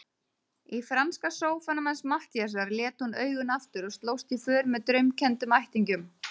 Í franska sófanum hans Matthíasar lét hún augun aftur og slóst í för með draumkenndum ættingjum.